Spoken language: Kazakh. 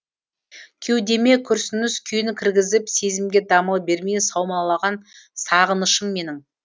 кеудеме күрсініс күйін кіргізіп сезімге дамыл бермей саумалаған сағынышым менің